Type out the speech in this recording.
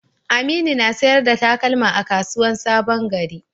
Aminu na sayar da takalma a kasuwan sabon gari.